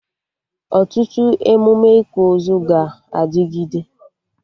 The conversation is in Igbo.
Ọtụtụ emụme ịkwa ozu ga-adịgịde